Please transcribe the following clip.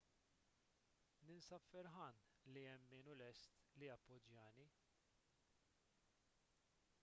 ninsab ferħan li hemm min hu lest li jappoġġjani